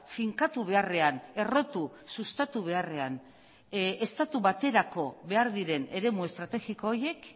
finkatu beharrean errotu sustatu beharrean estatu baterako behar diren eremu estrategiko horiek